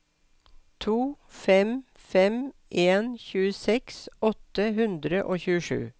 to fem fem en tjueseks åtte hundre og tjuesju